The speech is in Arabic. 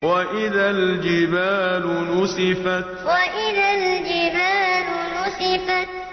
وَإِذَا الْجِبَالُ نُسِفَتْ وَإِذَا الْجِبَالُ نُسِفَتْ